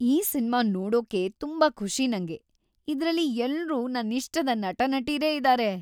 ಈ ಸಿನ್ಮಾ ನೋಡೋಕೇ ತುಂಬಾ ಖುಷಿ ನಂಗೆ. ಇದ್ರಲ್ಲಿ ಎಲ್ರೂ ನನ್ನಿಷ್ಟದ ನಟ-ನಟೀರೇ ಇದಾರೆ.